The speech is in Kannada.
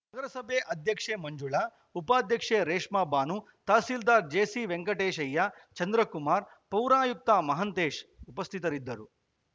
ನಗರಸಭೆ ಅಧ್ಯಕ್ಷೆ ಮಂಜುಳಾ ಉಪಾಧ್ಯಕ್ಷೆ ರೇಷ್ಮಾಭಾನು ತಹಸೀಲ್ದಾರ್‌ ಜೆಸಿ ವೆಂಕಟೇಶಯ್ಯ ಚಂದ್ರಕುಮಾರ್‌ ಪೌರಾಯುಕ್ತ ಮಹಂತೇಶ್‌ ಉಪಸ್ಥಿತರಿದ್ದರು